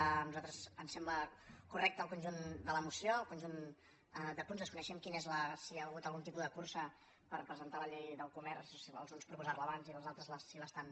a nosaltres ens sembla correcte el conjunt de la moció el conjunt de punts desconeixem si hi ha hagut algun tipus de cursa per presentar la llei del comerç si alguns propo·sar·la abans i si els altres l’estan